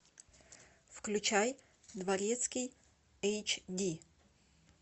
включай дворецкий эйч ди